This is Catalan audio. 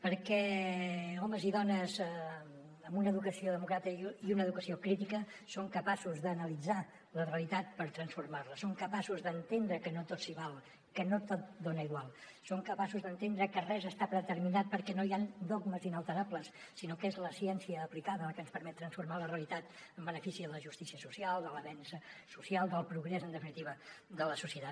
perquè homes i dones amb una educació democràtica i una educació crítica són capaços d’analitzar la realitat per transformar la són capaços d’entendre que no tot s’hi val que no tot és igual són capaços d’entendre que res està predeterminat perquè no hi han dogmes inalterables sinó que és la ciència aplicada la que ens permet transformar la realitat en benefici de la justícia social de l’avenç social del progrés en definitiva de la societat